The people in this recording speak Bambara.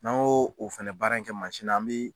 N'an g'o fɛnɛ baara in kɛ mansin na an bɛ